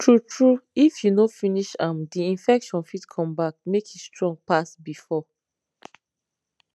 tru tru if you no finish am the infection fit come back make e strong pass before